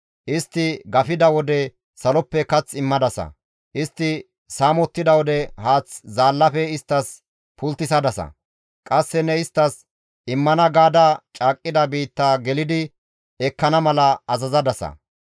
Istti gafettida wode saloppe kath immadasa; istti saamettida wode haath zaallafe isttas pulttisadasa; qasse ne isttas immana gaada caaqqida biittaa gelidi ekkana mala azazadasa.